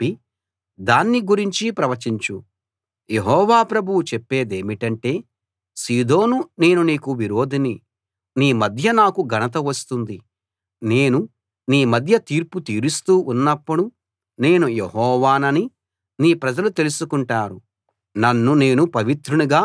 యెహోవా ప్రభువు చెప్పేదేమిటంటే సీదోను నేను నీకు విరోధిని నీ మధ్య నాకు ఘనత వస్తుంది నేను నీ మధ్య తీర్పు తీరుస్తూ ఉన్నపుడు నేను యెహోవానని నీ ప్రజలు తెలుసుకుంటారు నన్ను నేను పవిత్రునిగా మీ మధ్య కనుపరచుకుంటాను